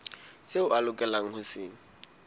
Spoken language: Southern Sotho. seo a lokelang ho se